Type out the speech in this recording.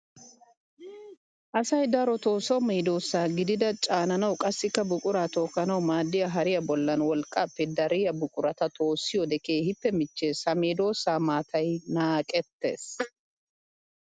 Asay darotto so medosa gididda caananawu qassikka buqura tookanawu maadiya hariya bollan wolqqappe dariya buqura toossiyoode keehippe michchees. Ha medosa maatay naaqetees.